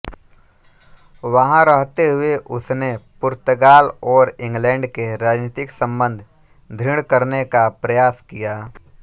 वहाँ रहते हुए उसने पुर्तगाल ओर इंग्लैंड के राजनीतिक संबंध दृढ़ करने का प्रयास किया